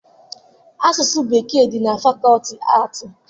Asụsụ Bekee dị na fakọọti aatị